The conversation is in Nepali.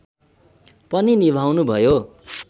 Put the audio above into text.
पनि निभाउनुभयो